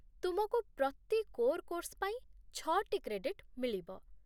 ତୁମକୁ ପ୍ରତି କୋର୍ କୋର୍ସ ପାଇଁ ଛଅଟି କ୍ରେଡିଟ୍ ମିଳିବ